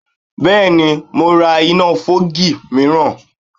Bẹ́ẹ̀ni, mo ra iná fọ́ọ̀gì míìràn